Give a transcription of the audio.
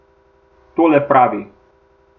Tole pravi.